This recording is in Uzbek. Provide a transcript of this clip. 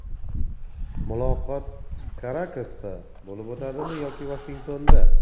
Muloqot Karakasda bo‘lib o‘tadimi yoki Vashingtonda?